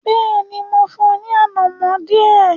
Bẹ́ẹ̀ni, mo fún un ní “ànàmọ́” díẹ̀.